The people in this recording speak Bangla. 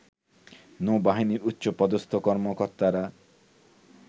নৌবাহিনীর উচ্চপদস্থ কর্তারা